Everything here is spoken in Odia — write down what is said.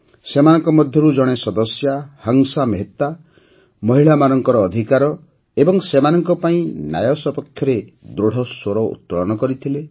ସେମାନଙ୍କ ମଧ୍ୟରୁ ଜଣେ ସଦସ୍ୟା ହଂସା ମେହେତା ମହିଳାମାନଙ୍କ ଅଧିକାର ଏବଂ ସେମାନଙ୍କ ପାଇଁ ନ୍ୟାୟ ସପକ୍ଷରେ ଦୃଢ଼ ସ୍ୱର ଉତ୍ତୋଳନ କରିଥିଲେ